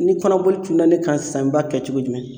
Ni kɔnɔboli cunna ne kan sisan n b'a kɛ cogo jumɛn